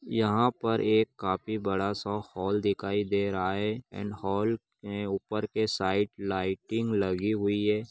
यहाँ पर एक काफी बड़ा-सा हॉल दिखाई दे रहा है एण्ड हॉल मे ऊपर के साइड लाइटिंग लगी हुई है।